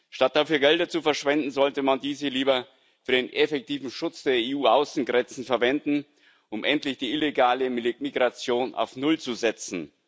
Statt dafür Gelder zu verschwenden, sollte man diese lieber für den effektiven Schutz der EU Außengrenzen verwenden, um endlich die illegale Migration auf null zu setzen.